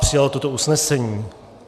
Přijal toto usnesení.